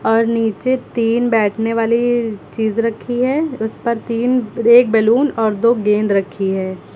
और नीचे तीन बैठने वाली चीज रखी है उस पर तीन और एक बैलून और दो गेंद रखी है।